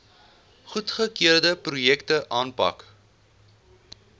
goedgekeurde projekte aanpak